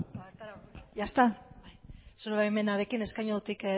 ya está zure baimenarekin eskainutik